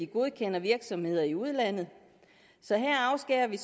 godkende virksomheder i udlandet så her afskærer vi